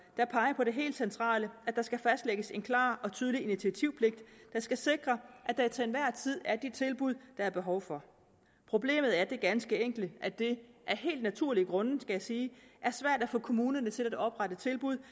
der peger på det helt centrale at der skal fastlægges en klar og tydelig initiativpligt der skal sikre at der til enhver tid er de tilbud der er behov for problemet er det ganske enkle at det af helt naturlige grunde skal jeg sige er svært at få kommunerne til at oprette tilbud